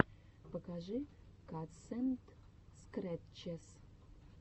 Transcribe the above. покажи катсэндскрэтчес